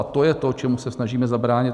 A to je to, čemu se snažíme zabránit.